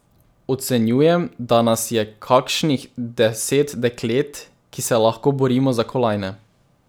Ocenjujem, da nas je kakšnih deset deklet, ki se lahko borimo za kolajne.